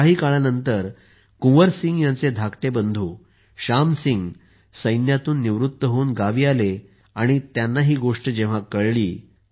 काही काळानंतर कुंवर सिंह यांचे धाकटे बंधू श्याम सिंह सैन्यातून निवृत्त होऊन गावी आले तेव्हा त्यांना ही गोष्ट कळली